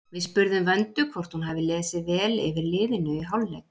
Við spurðum Vöndu hvort hún hafi lesið vel yfir liðinu í hálfleik?